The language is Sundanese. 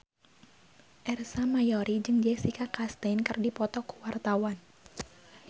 Ersa Mayori jeung Jessica Chastain keur dipoto ku wartawan